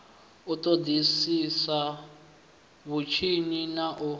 u ṱoḓisisa vhutshinyi na u